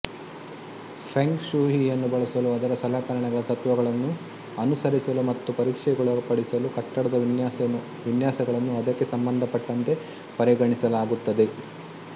feng ಶೂಯಿಯನ್ನು ಬಳಸಲು ಅದರ ಸಲಕರಣೆಗಳ ತತ್ವಗಳನ್ನು ಅನುಸರಿಸಲು ಮತ್ತು ಪರೀಕ್ಷೆಗೊಳಪಡಿಸಲು ಕಟ್ಟಡದ ವಿನ್ಯಾಸಗಳನ್ನು ಅದಕ್ಕೆ ಸಂಬಂಧಪಟ್ಟಂತೆ ಪರಿಗಣಿಸಲಾಗುತ್ತದೆ